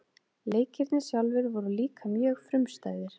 Leikirnir sjálfir voru líka mjög frumstæðir.